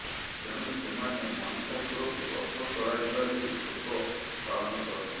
ତେଣୁ ସେମାନେ ମହିଷାସୁରକୁ ବଦ୍ଧ କରାଯିବା ନେଇ ଶୋକ ପାଳନ କରନ୍ତି